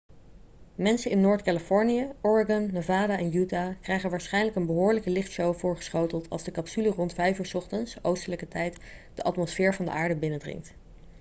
mensen in noord-californië oregon nevada en utah krijgen waarschijnlijk een behoorlijke lichtshow voorgeschoteld als de capsule rond 5 uur 's ochtends oostelijke tijd de atmosfeer van de aarde binnendringt